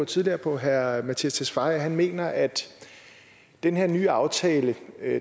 tidligere på herre mattias tesfaye at han mener at den her nye aftale